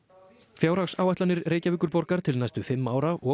fjárhagsáætlanir Reykjavíkurborgar til næstu fimm ára og